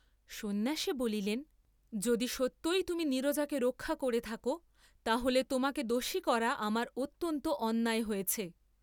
সন্ন্যাসী বলিলেন, যদি সত্যই তুমি নীরজাকে রক্ষা করে থাক তা হলে তোমাকে দোষী করা আমার অত্যন্ত অন্যায় হয়েছে।